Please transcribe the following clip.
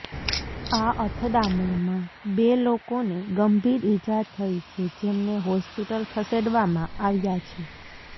આ અથડામણમાં બે લોકોને ગંભીર ઇજા થઇ છે જેમને હોસ્પિટલ ખસેડવામાં આવ્યા છે